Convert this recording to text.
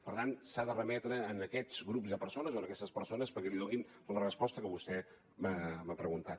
per tant s’ha de remetre en aquests grups de persones o en aquestes persones perquè li donin la resposta que vostè m’ha preguntat